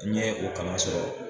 N ye o kalan sɔrɔ